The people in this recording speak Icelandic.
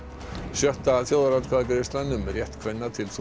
sjötta þjóðaratkvæðagreiðslan um rétt kvenna til